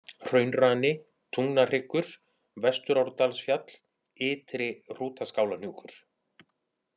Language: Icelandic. Hraunrani, Tungnahryggur, Vesturárdalsfjall, Ytri-Hrútaskálahnjúkur